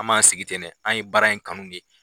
An man sigi tɛ dɛ an ye baara in kanu ɲe.